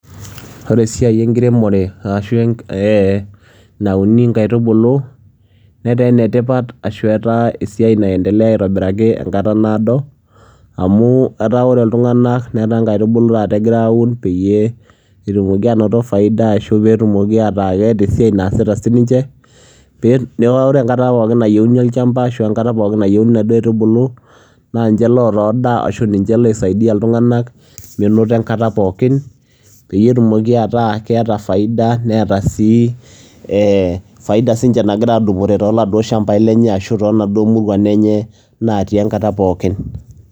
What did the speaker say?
ore esiai enkiremore ashu ee ee nauni nkaitubulu, netaa ene tipat ashu etaa esiai naendelea aitobiraki, enkata naado. amu etaa ore iltuganak netaa nkaitubulu taata egira aun peyiee etumoki aanoto faida ashu etumoki ataa keeta esiai naasita sii ninche. pee ore enkata pookin nayieuni olchampa ashu enkata pookin nayieuni inaduoo aitubulu. naa ninche loota edaa ashu ninche loisaidi ailtunganak menoto enkata pookin. peyie etumoki ataa keeta edaa neeta faida, neeta sii faida nagira sii ninche aadupore tonaduoo muruan enye natii enkata pookin.